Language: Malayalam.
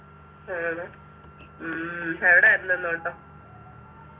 ആഹ് ഉം എവിടെയാരുന്നു ഇന്നോട്ടം